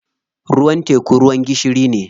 Ruwan teku ruwan gishiri ne.